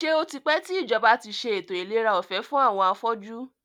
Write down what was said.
Ṣé o tipẹ́ tí ìjọba tí ṣe ètò ìlera ọ̀fẹ́ fún àwọn afọ́jú?